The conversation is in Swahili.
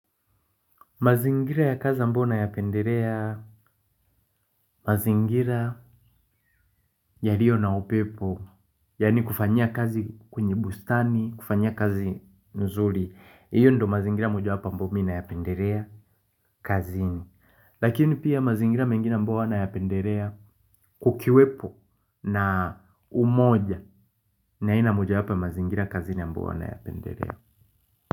Mazingira ya kazi ambayo nayapendelea, mazingira yalio na upepo, yani kufanyia kazi kwenye bustani, kufanyia kazi nzuri, iyo ndio mazingira mojawapo ambao mi nayapendelea kazini. Lakini pia mazingira mengine ambayo nayapendelea kukiwepo na umoja ni aina mojawapo ya mazingira kazini ambao huwa nayapendelea.